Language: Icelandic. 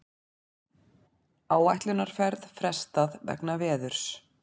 Áætlunarferð frestað vegna veðurs